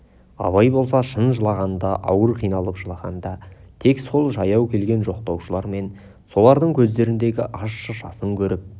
абай болса шын жылағанда ауыр қиналып жылағанда тек сол жаяу келген жоқтаушылар мен солардың көздеріндегі ащы жасын көріп